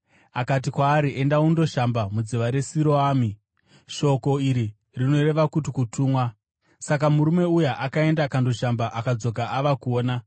Akati kwaari, “Enda undoshamba mudziva reSiroami” (shoko iri rinoreva kuti Kutumwa). Saka murume uya akaenda akandoshamba, akadzoka ava kuona.